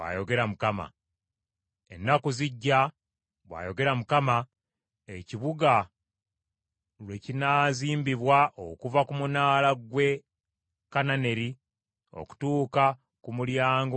“Ennaku zijja,” bw’ayogera Mukama , “ekibuga lwe kinaazimbibwa okuva ku Munaala gwe Kananeri okutuuka ku Mulyango gw’oku Nsonda.